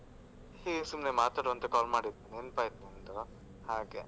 ಹ್ಮ್ ಸುಮ್ನೆ ಮಾತಾಡುವ ಅಂತ call ಮಾಡಿದ್ದು ನೆನ್ಪಾಯ್ತು ನಿಂದು ಹಾಗೆ.